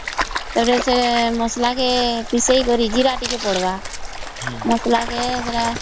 ଆରେ ସେ ମସଲା କେ ପିସେଇ କରି ଜୀରା ଟିକେ ପଡିବା ମସଲା କେ ସେତ